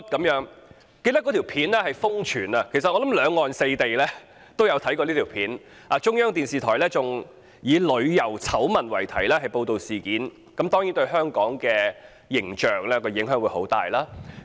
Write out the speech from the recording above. "有關影片在網上瘋傳，兩岸四地的人都看過，中央電視台更以"旅遊醜聞"為題報道事件，這對香港的形象當然有很大影響。